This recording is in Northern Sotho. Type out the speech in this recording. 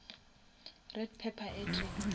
red pepper e tee